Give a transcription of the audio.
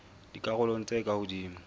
dikarolong tse ka hodimo tsa